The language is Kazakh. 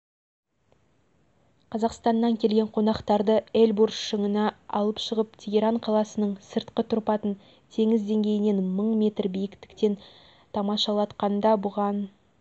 қазақстаннан келген қонақтарды эльбурс шыңына алып шығып тегеран қаласының сыртқы тұрпатын теңіз деңгейінен мың метр биіктіктен тамашалатқанда бұған